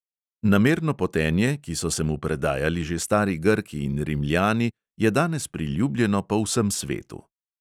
Namerno potenje, ki so se mu predajali že stari grki in rimljani, je danes priljubljeno po vsem svetu.